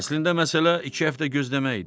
Əslində məsələ iki həftə gözləmək idi.